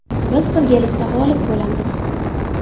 Biz birgalikda g‘olib bo‘lamiz.